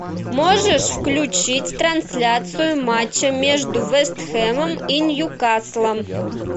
можешь включить трансляцию матча между вест хэмом и ньюкаслом